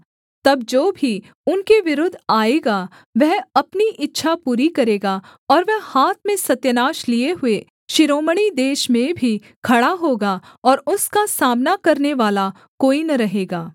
तब जो भी उनके विरुद्ध आएगा वह अपनी इच्छा पूरी करेगा और वह हाथ में सत्यानाश लिए हुए शिरोमणि देश में भी खड़ा होगा और उसका सामना करनेवाला कोई न रहेगा